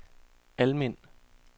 Almind